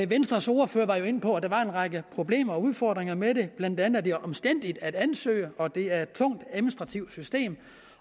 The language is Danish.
venstres ordfører var jo inde på at der var en række problemer og udfordringer med det blandt andet at det er omstændeligt at ansøge og at det er tungt administrativt system